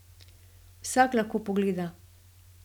Vsak lahko pogleda.